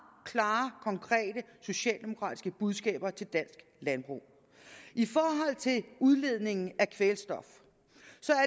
klare konkrete socialdemokratiske budskaber til dansk landbrug i forhold til udledningen af kvælstof